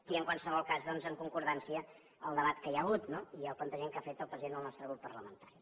i en qualsevol cas doncs en concordança amb el debat que hi ha hagut no i el plantejament que ha fet el president del nostre grup parlamentari